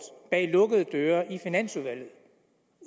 bag lukkede døre i finansudvalget